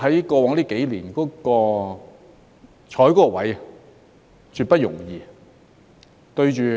過往這幾年，你坐在那個位置是絕不容易的。